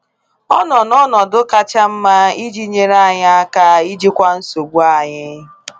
Ọ nọ n’ọnọdụ kacha mma iji nyere anyị aka ijikwa nsogbu anyị.